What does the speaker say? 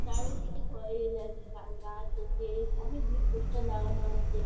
চারিদিকে ঘরে গাছ আছে অনেকগুলি পোস্টার লাগানো আছে ।